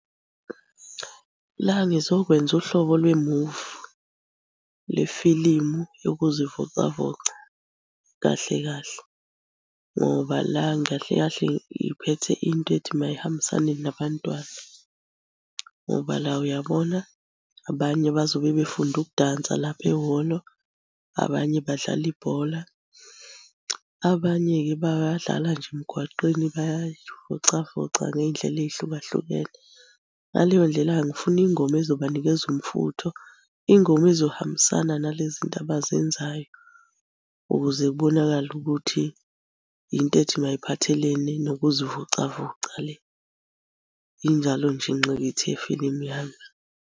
La ngizokwenza uhlobo lwemuvi, lwefilimu yokuzivocavoca kahle kahle, ngoba la kahle kahle ngiphethe into ethi mayihambisane nabantwana ngoba la uyabona, abanye bazobe befunda ukudansa lapho ehholo, abanye badlale ibhola. Abanye-ke bayadlala nje emgwaqeni bayay'vocavoca ngey'ndlela ey'hlukahlukene. Ngaleyo ndlela-ke ngifuna ingoma ezobanikeza umfutho, ingoma ezohambisana nale zinto abazenzayo ukuze kubonakale ukuthi yinto ethi mayiphathelene nokuzivocavoca le. Injalo nje ingqikithi yefilimu yami.